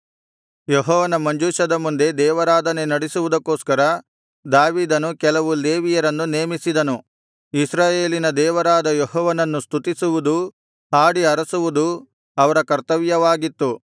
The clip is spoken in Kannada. ಯೆಹೋವನ ಮಂಜೂಷದ ಮುಂದೆ ದೇವರಾಧನೆ ನಡಿಸುವುದಕ್ಕೋಸ್ಕರ ದಾವೀದನು ಕೆಲವು ಲೇವಿಯರನ್ನು ನೇಮಿಸಿದನು ಇಸ್ರಾಯೇಲಿನ ದೇವರಾದ ಯೆಹೋವನನ್ನು ಸ್ತುತಿಸುವುದೂ ಹಾಡಿ ಹರಸುವುದೂ ಅವರ ಕರ್ತವ್ಯವಾಗಿತ್ತು